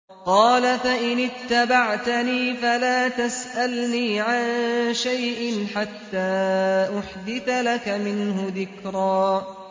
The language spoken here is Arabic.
قَالَ فَإِنِ اتَّبَعْتَنِي فَلَا تَسْأَلْنِي عَن شَيْءٍ حَتَّىٰ أُحْدِثَ لَكَ مِنْهُ ذِكْرًا